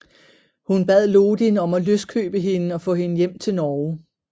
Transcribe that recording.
Hun bad Lodin om at løskøbe hende og få hende hjem til Norge